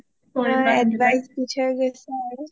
advice দি থৈ গৈছে আৰু